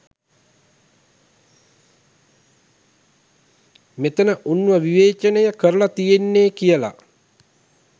මෙතන උන්ව විවේචනය කරල තියෙන්නෙ කියල.